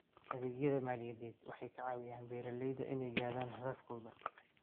Adeegyada maaliyadeed waxay ka caawiyaan beeralayda inay gaadhaan hadafkooda.